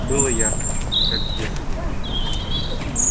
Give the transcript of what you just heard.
было ярко как в детстве